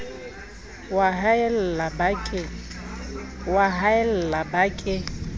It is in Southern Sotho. o a haella ba ke